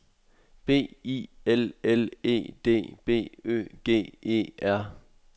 B I L L E D B Ø G E R